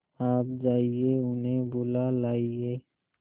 आप जाइए उन्हें बुला लाइए